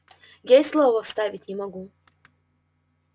я и слова вставить не могу